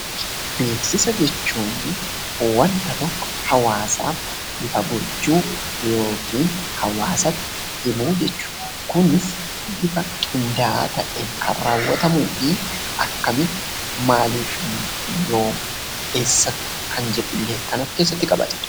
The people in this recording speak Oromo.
Beeksisa jechuun wanta tokko hawaasaaf ifa gochuu yookiin hawaasatti himuu jechuudha. Kunis bifa qindaa'aa ta'een kan raawwatamuu fi akkamitti eessatti fi maalif kan jedhullee kan of keessatti qabatudha.